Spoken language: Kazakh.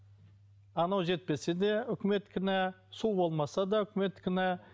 анау жетпесе де үкімет кінә су болмаса да үкімет кінә